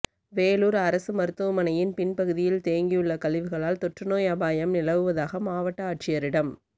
வேலூா் அரசு மருத்துவமனையின் பின்பகுதியில் தேங்கியுள்ள கழிவுகளால் தொற்று நோய் அபாயம் நிலவுவதாக மாவட்ட ஆட்சியரிடம்